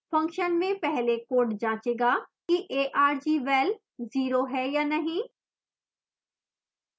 function में पहले code जाँचेगा कि argval zero है या नहीं